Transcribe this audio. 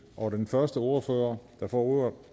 og den første ordfører der får ordet